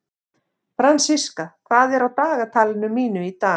Fransiska, hvað er á dagatalinu mínu í dag?